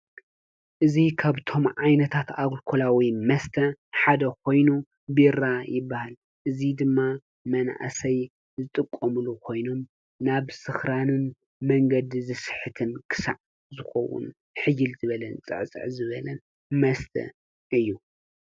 እዚ ካብቶም ዓይነታት ኣልኮላዊ መስተ ሓደ ኾይኑ ቢራ ይበሃል:: እዚ ድማ መናእሰይ ዝጥቀሙሉ ኾይኑ ናብ ስክራንን መንገዲ ዝስሕትን ክሳዕ ዝኾዉን ሕይል ዝበለን ፅዕፅዕ ዝበለን መስተ እዩ።